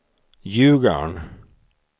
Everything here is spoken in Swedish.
Ljugarn